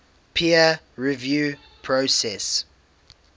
peer review process